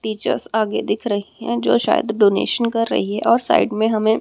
teachers आगे दिख रही हैं जो शायद डोनेशन कर रही हैं और साइड में हमे--